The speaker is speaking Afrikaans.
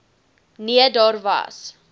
nee daar was